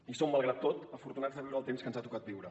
i som malgrat tot afortunats de viure el temps que ens ha tocat viure